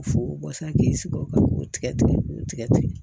Fo sisan k'i sigi o kan k'o tigɛ tigɛ k'o tigɛ tigɛ